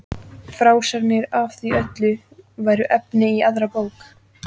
Frásagnir af því öllu væru efni í aðra bók.